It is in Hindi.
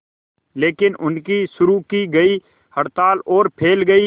लेकिन उनकी शुरू की गई हड़ताल और फैल गई